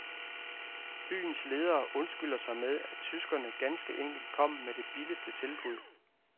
Byens ledere undskylder sig med, at tyskerne ganske enkelt kom med det billigste tilbud.